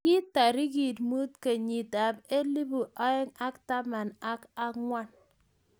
Kii tarik mut kenyit ab elpu aeng ak taman ak ang'wan